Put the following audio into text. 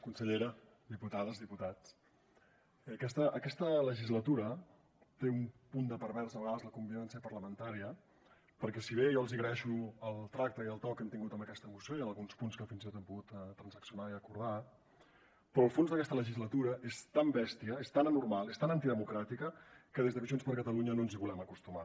consellera diputades diputats a aquesta legislatura té un punt de pervers a vegades la convivència parlamentària perquè si bé jo els agraeixo el tracte i el to que han tingut en aquesta moció i en alguns punts que fins i tot hem pogut transaccionar i acordar el fons d’aquesta legislatura és tan bèstia és tan anormal és tan antidemocràtica que des de junts per catalunya no ens hi volem acostumar